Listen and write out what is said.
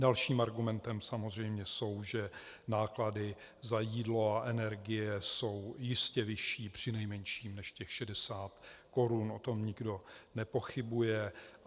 Dalším argumentem samozřejmě je, že náklady za jídlo a energie jsou jistě vyšší přinejmenším než těch 60 korun, o tom nikdo nepochybuje.